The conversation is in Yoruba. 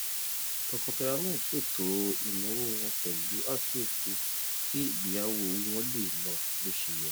tọkọtaya náà ṣètò ináwó wọn pẹlú àkíyèsí kí ìgbéyàwó owó wọn lè lọ bóṣeyẹ